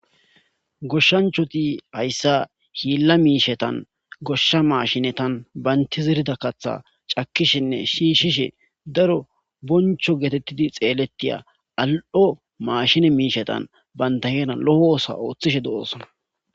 Goshshanchati hayssa hiila mishshantan goshsha mashshinetan banta zerida kaththa cakishenne shishishe daro boncho getetidi xeletiya ali7o mashine mishshatan bantta heeran lo7oa otho othishe dosona.